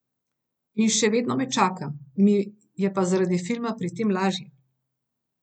In še vedno me čaka, mi je pa zaradi filma pri tem lažje.